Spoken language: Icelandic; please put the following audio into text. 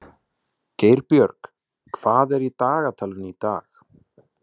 Geirbjörg, hvað er í dagatalinu í dag?